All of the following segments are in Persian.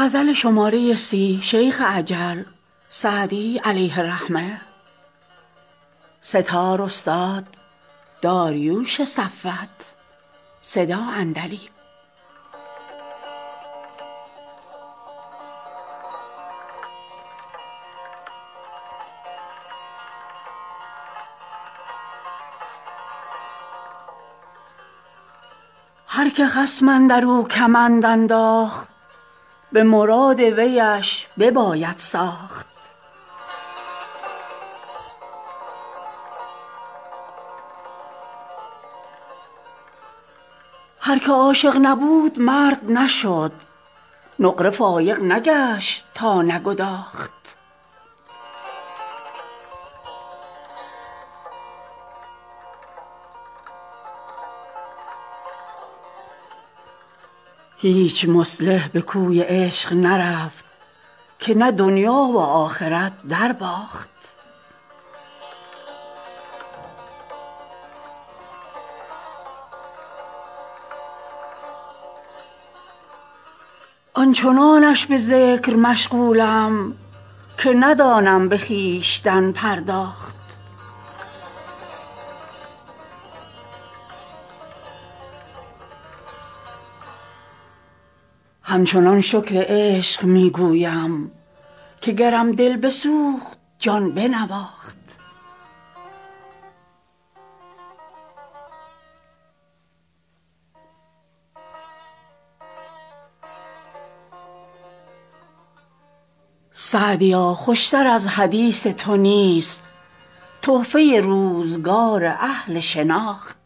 هر که خصم اندر او کمند انداخت به مراد ویش بباید ساخت هر که عاشق نبود مرد نشد نقره فایق نگشت تا نگداخت هیچ مصلح به کوی عشق نرفت که نه دنیا و آخرت درباخت آن چنانش به ذکر مشغولم که ندانم به خویشتن پرداخت همچنان شکر عشق می گویم که گرم دل بسوخت جان بنواخت سعدیا خوش تر از حدیث تو نیست تحفه روزگار اهل شناخت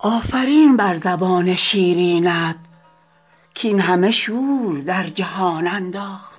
آفرین بر زبان شیرینت کاین همه شور در جهان انداخت